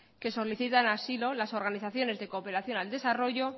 que solicitan asilo las organizaciones de cooperación al desarrollo